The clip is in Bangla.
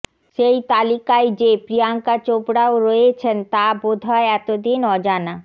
সেই তালিকায় যে প্রিয়ঙ্কা চোপড়াও রয়েছেন তা বোধহয় এতদিন অজানা